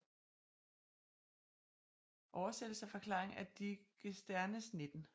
Oversættelse og Forklaring af Digesternes 19